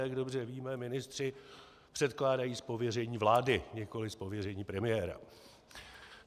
Jak dobře víme, ministři předkládají z pověření vlády, nikoli z pověření premiéra.